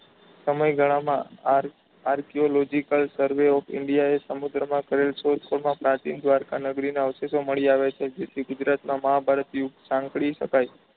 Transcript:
સમયગાળામાં આર archological survey of india એ સમુદ્ર માં કરેલ શોધખોળ માં પ્રાચીન દ્વારકા નગરી ના અવશેષો મળી આવ્યા છે જે ગુજરાત માં મહાભારત યુદ્ધ સહન કરી શકાઈ.